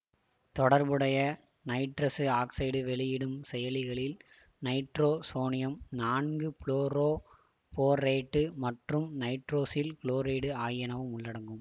தொடர்புடைய nitrous oxide வெளியிடும் செயலிகளில் நைட்ரோசோனியம் நான்கு புளோரோபோரேட்டு மற்றும் நைட்ரோசில் குளோரைடு ஆகியனவும் உள்ளடங்கும்